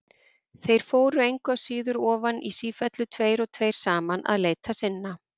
Þeir fóru engu að síður ofan í sífellu tveir og tveir saman að leita sinna.